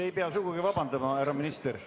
Te ei pea sugugi vabandama, härra minister.